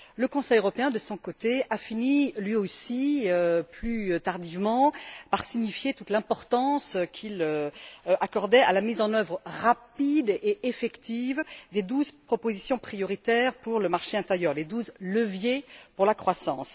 Le Conseil européen, de son côté, a fini lui aussi plus tardivement par signifier toute l'importance qu'il accordait à la mise en œuvre rapide et effective des douze propositions prioritaires pour le marché intérieur, les douze leviers pour la croissance.